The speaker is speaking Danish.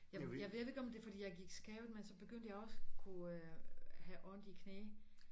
Jeg jeg ved ikke om det fordi jeg gik skævt men så begyndte jeg også kunne have ondt i knæ